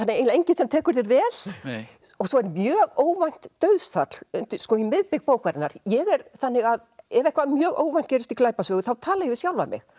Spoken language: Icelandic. eiginlega enginn sem tekur þér vel svo er mjög óvænt dauðsfall um miðbik bókarinnar ég er þannig að ef eitthvað mjög óvænt gerist í glæpasögu þá tala ég við sjálfa mig